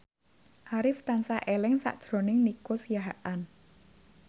Arif tansah eling sakjroning Nico Siahaan